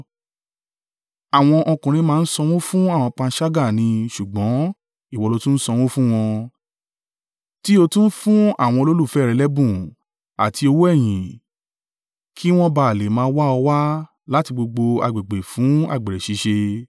Àwọn ọkùnrin máa ń sanwó fún àwọn panṣágà ni ṣùgbọ́n ìwọ lo tún ń sanwó fun wọn, tí ó tún ń fún àwọn olólùfẹ́ rẹ lẹ́bùn àti owó ẹ̀yìn kí wọn bá à le máa wá ọ wá láti gbogbo agbègbè fún àgbèrè ṣíṣe.